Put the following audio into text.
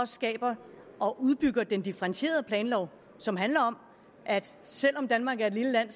skaber og udbygger den differentierede planlov som handler om at selv om danmark er et lille land